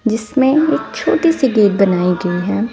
जिसमें एक छोटी सी गेट बनाई गई है।